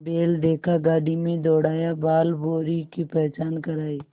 बैल देखा गाड़ी में दौड़ाया बालभौंरी की पहचान करायी